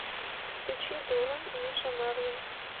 включи дура миша марвин